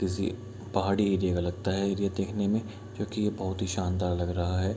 किसी पहाड़ी एरिया का लगता है एरिया देखने में क्योंकि ये बहुत ही शानदार लग रहा है।